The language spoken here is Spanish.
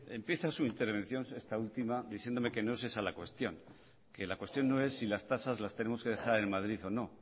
empieza su intervención esta última diciéndome que no es esa la cuestión que la cuestión no es si las tasas las tenemos que dejar en madrid o no